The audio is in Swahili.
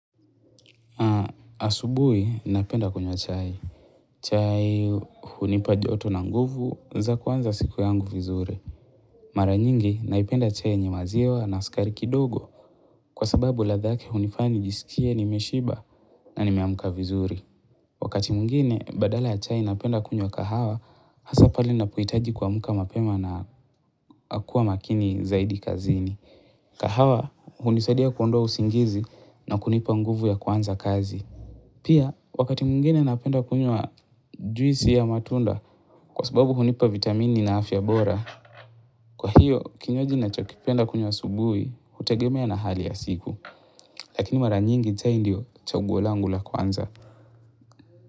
Na asubuhi, napenda kunywa chai. Chai hunipa joto na nguvu za kwanza siku yangu vizuri. Mara nyingi, naipenda chai yenye maziwa na sukari kidogo kwa sababu ladha yake hunifanya njisikie nimeshiba na nimeamka vizuri. Wakati mwngine, badala ya chai napenda kunywa kahawa hasa pale napohitaji kuamka mapema na kua makini zaidi kazini. Kahawa, hunisadia kuondoa usingizi na kunipa nguvu ya kuanza kazi. Pia, wakati mungine napenda kunywa juisi ya matunda kwa sababu hunipa vitamini na afya bora. Kwa hiyo, kinywaji nachokipenda kunywa asubuhi, hutegemea na hali ya siku. Lakini mara nyingi chai ndio chaguo langu la kwanza.